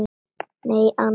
Nei annars.